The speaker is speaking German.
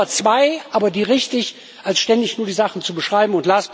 lieber zwei, aber die richtig, als ständig nur die Sachen zu beschreiben.